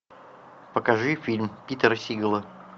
покажи фильм питера сигала